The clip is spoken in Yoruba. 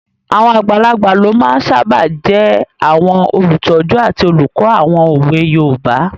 Àwọn àgbàlagbà ló máa n sáábà jẹ́ àwọn olùtọ́jú àti olùkọ́ àwọn òwe yoòbá